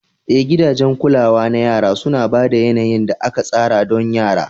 Eh, gidajen kulawa na yara suna ba da yanayin da aka tsara don yara.